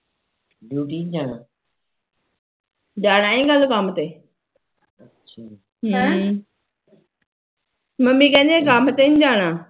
ਜਾਣਾ ਐ ਕੱਲ ਕੰਮ ਤੇ ਹਾਂ ਮੰਮੀ ਕਹਿੰਦੀ ਕੱਲ ਕੰਮ ਤੇ ਨੀ ਜਾਣਾ